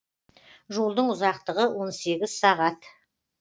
жолдың ұзақтығы он сегіз сағат